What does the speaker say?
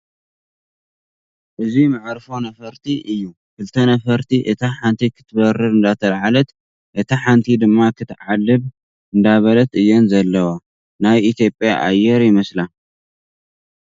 እዚ መዕርፎ ነፈርቲ እዩ ፡ ክልተ ነፈርቲ እታ ሓንቲ ክትበርር እንዳተላዓለት እታ ሓንቲ ድማ ክትዓልብ እንዳበለት እየን ዘለዋ ፡ ናይ ኢ/ያ ኣየር ይመስላ ።